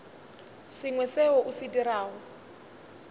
sengwe seo o se dirago